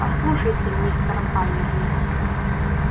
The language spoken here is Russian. послушайте мистер байерли